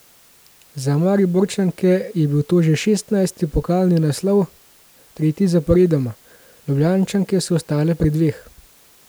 Za Mariborčanke je bil to že šestnajsti pokalni naslov, tretji zaporedoma, Ljubljančanke so ostale pri dveh.